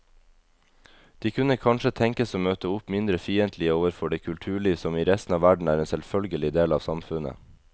De kunne kanskje tenkes å møte opp mindre fiendtlige overfor det kulturliv som i resten av verden er en selvfølgelig del av samfunnet.